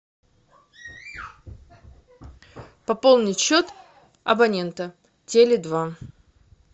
пополнить счет абонента теле два